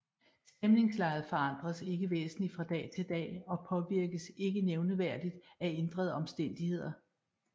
Stemningslejet forandres ikke væsentligt fra dag til dag og påvirkes ikke nævneværdigt af ændrede omstændigheder